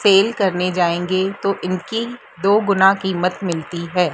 Cell करने जाएंगे तो इनकी दो गुना कीमत मिलती है।